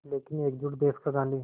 लेकिन एकजुट देश का गांधी